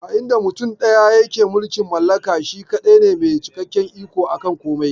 A inda mutum ɗaya yake mulkin mallaka, shi kaɗai ne mai cikakken iko aka komai.